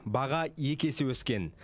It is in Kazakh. баға екі есе өскен